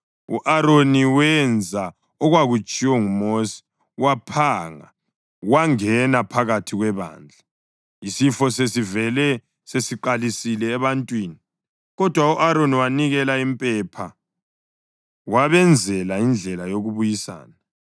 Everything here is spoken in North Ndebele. U-Aroni wenza okwakutshiwo nguMosi, waphanga wangena phakathi kwebandla. Isifo sesivele sesiqalisile ebantwini, kodwa u-Aroni wanikela impepha wabenzela indlela yokubuyisana.